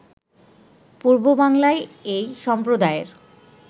পূর্ববাংলায় এই সম্প্রদায়ের